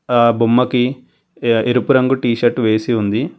అక్కడ ఆ బొమ్మకి ఎరుపు రంగు టీ షర్ట్ వేసి ఉంది.